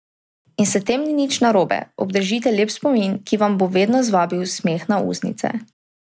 In s tem ni nič narobe, obdržite lep spomin, ki vam bo vedno zvabil smeh na ustnice.